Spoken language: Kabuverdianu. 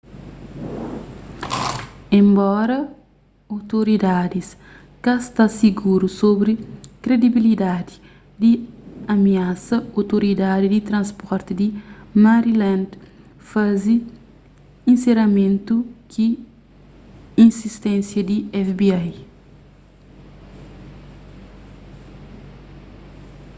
enbora outoridadis ka sta siguru sobri kredibilidadi di amiasa outoridadi di transporti di maryland faze inseramentu ki insisténsia di fbi